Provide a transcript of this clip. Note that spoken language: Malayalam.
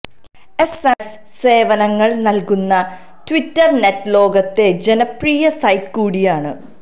എസ് എം എസ് സേവനങ്ങള് നല്കുന്ന ട്വിറ്റര് നെറ്റ്ലോകത്തെ ജനപ്രിയ സൈറ്റ് കൂടിയാണ്